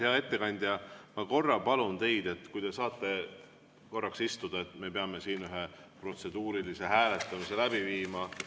Hea ettekandja, ma palun teid, et te korraks istuksite, sest me peame siin ühe protseduurilise hääletamise läbi viima.